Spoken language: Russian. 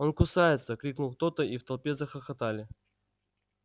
он кусается крикнул кто то и в толпе захохотали